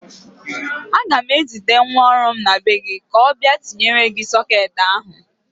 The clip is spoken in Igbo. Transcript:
Aga m ezite nwa ọrụ m na be gị ka ọ bịa tinyere gị sọketị ahụ.